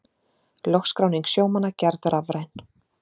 Lögskráning sjómanna gerð rafræn